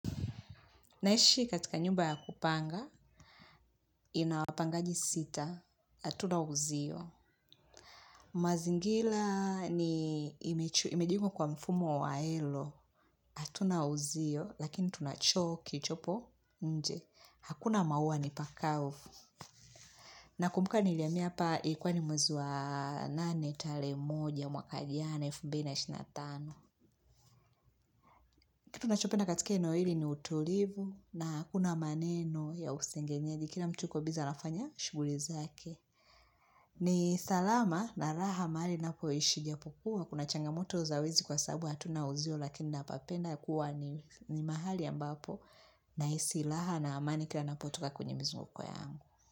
Naishi katika nyumba ya kupanga, ina wapangaji sita, hatuna wauzio. Mazingira yamejengwa kwa mfumo wa wazi; hatuna uzio, lakini tuna choo kilichopo nje. Hakuna maua ni pakavu. Nakumbuka nilihamia hapa ilikuwa ni mwezi wa nane tarehe moja, mwaka jana elfu mbili ishirini na tano. Kitu nachopenda katika eneo hili ni utulivu na hakuna maneno ya usengenyeji kila mtu anafanya shughuli zake. Ni salama na raha mahali ninapoishi iijapokuwa. Kuna changamoto za wezi kwa sababu hatuna uzio lakini napapenda kuwa ni ni mahali ambapo nahisi raha na amani kila ninapotoka kwenye mizunguko yangu.